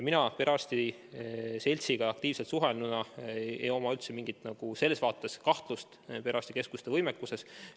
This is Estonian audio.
Mina perearstide seltsiga aktiivselt suhelnuna ei oma üldse mingit kahtlust perearstikeskuste võimekuse suhtes.